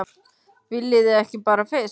Viljið þið ekki bara fisk!